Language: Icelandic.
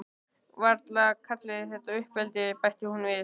Varla kalliði þetta uppeldi, bætti hún við.